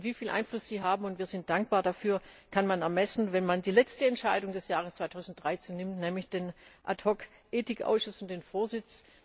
Wieviel Einfluss Sie haben und wir sind dankbar dafür kann man ermessen, wenn man die letzte Entscheidung des Jahres 2013 nimmt, nämlich den Ad hoc Ethikausschuss und den Vorsitz.